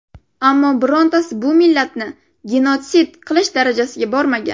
Ammo birontasi bu millatni genotsid qilish darajasiga bormagan.